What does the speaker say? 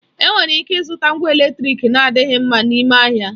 Enwere ịke ịzụta ngwa eletrịk na-adịghị mma n'ime ahịa.